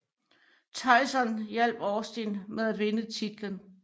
Tyson hjalp Austin med at vinde titlen